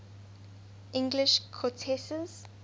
english countesses